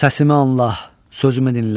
Səsimi anla, sözümü dinlə.